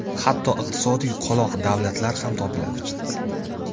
Hatto iqtisodiy qoloq davlatlar ham topiladi.